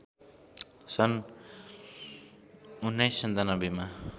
सन् १९९७ मा